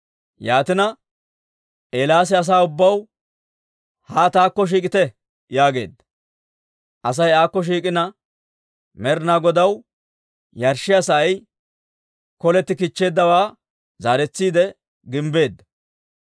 Yaatina, Eelaasi asaa ubbaw, «Haa taakko shiik'ite» yaageedda. Asay aakko shiik'ina, Med'inaa Godaw yarshshiyaa sa'ay koletti kichcheeddawaa zaaretsiide gimbbeedda.